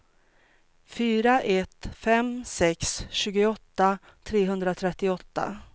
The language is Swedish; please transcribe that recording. fyra ett fem sex tjugoåtta trehundratrettioåtta